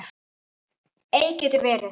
Eik getur verið